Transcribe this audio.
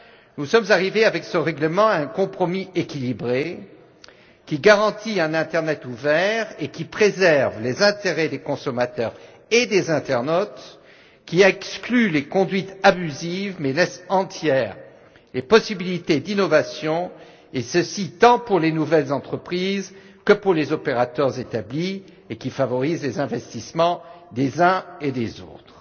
nous sommes arrivés avec ce règlement à un compromis équilibré qui garantit un internet ouvert et préserve les intérêts des consommateurs et des internautes, qui exclut les conduites abusives, mais laisse entière les possibilités d'innovation et ceci, tant pour les nouvelles entreprises que pour les opérateurs établis, et qui favorise les investissements des uns et des autres.